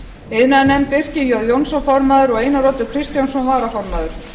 iðnaðarnefnd birkir j jónsson formaður og einar oddur kristjánsson varaformaður